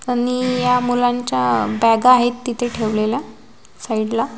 आणि या मुलांच्या बॅगा आहेत तिथे ठेवलेल्या साईडला --